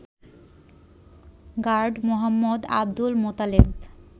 Guard Md. Abdul Motaleb